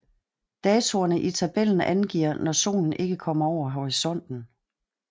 Datoerne i tabellen angiver når solen ikke kommer over horisonten